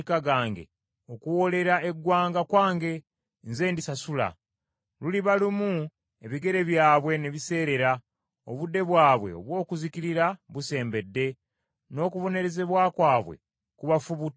Okuwoolera eggwanga kwange, nze ndisasula. Luliba lumu ebigere byabwe ne biseerera, obudde bwabwe obw’okuzikirira busembedde, n’okubonerezebwa kwabwe kubafubutukirako.